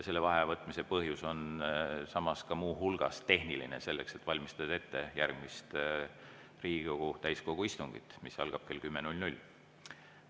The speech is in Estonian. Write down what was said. Vaheaja võtmise põhjus on muu hulgas ka tehniline: selleks et valmistada ette järgmist Riigikogu täiskogu istungit, mis algab kell 10.00.